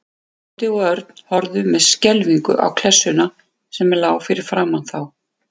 Tóti og Örn horfðu með skelfingu á klessuna sem lá fyrir framan þá.